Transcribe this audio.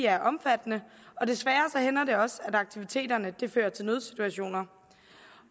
er omfattende og desværre hænder det også at aktiviteterne fører til nødsituationer